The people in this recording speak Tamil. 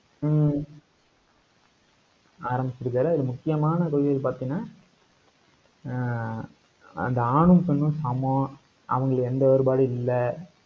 ஹம் ஆரம்பிச்சிருக்காரு. அதுல முக்கியமான கொள்கைகள் பாத்தீங்கன்னா, ஆஹ் அந்த ஆணும், பெண்ணும் சமம். அவங்களுக்கு எந்த வேறுபாடும் இல்லை.